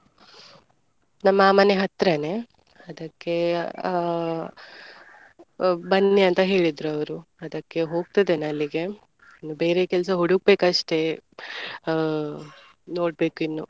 ನಮ್ಮಾ ಮನೆ ಹತ್ರನೇ ಅದಕ್ಕೆ ಅ ಬನ್ನಿ ಅಂತ ಹೇಳಿದ್ರು ಅವ್ರು ಅದಕ್ಕೆ ಹೋಗ್ತಿದ್ದೇನೆ ಅಲ್ಲಿಗೆ ಇನ್ನು ಬೇರೆ ಕೆಲ್ಸ ಹುಡುಕ್ಬೇಕಸ್ಟೆ ಆ ನೋಡ್ಬೇಕು ಇನ್ನು.